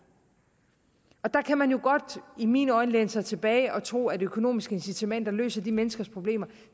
der kan man jo godt i mine øjne læne sig tilbage og tro at økonomiske incitamenter løser de menneskers problemer